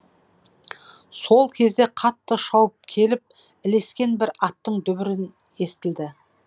сол кезде қатты шауып келіп ілескен бір аттың естілді